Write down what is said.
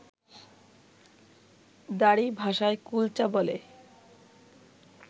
দারী ভাষায় কুলচা বলে